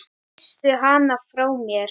Kysstu hana frá mér.